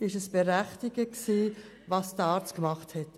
War es berechtigt, was dieser Arzt gemacht hat?